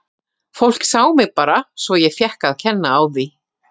Fólk sá mig bara svo ég fékk að kenna á því.